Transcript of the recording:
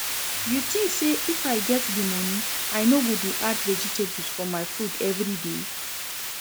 You think say if I get the money I no go dey add vegetable for my food everyday?